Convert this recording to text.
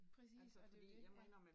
Præcis, og det jo det ja